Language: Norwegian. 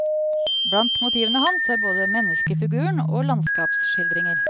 Blant motivene hans er både menneskefiguren og landskapsskildringer.